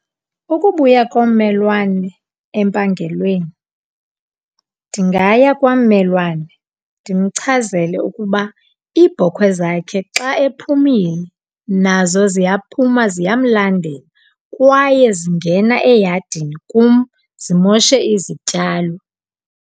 Ukubuya kommelwane empangelweni ndingaya kwammelwane ndimchazele ukuba iibhokhwe zakhe xa ephumile nazo ziyaphuma, ziyamlandela kwaye zingena eyadini kum zimoshe izityalo.